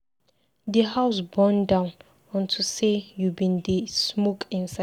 The house burn down unto say you bin dey smoke inside.